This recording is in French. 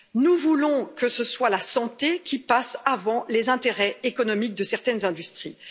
Nous voulons que ce soit la santé qui passe avant les intérêts économiques de certaines industries.